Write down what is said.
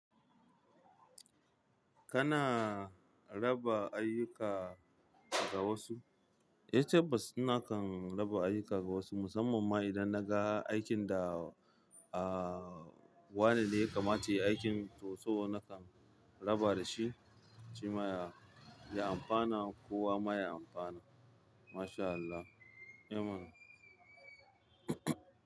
Kana raba ayyuka ga wasu? Eh tabbas nakan raba ayyuka ga wasu musamman ma idan na ga aikin da aa wane ya kamata ya yi aikin to so nakan raba da shi, shi ma ya ya amfana ko wa maye amfana. Masha Allah. Amen.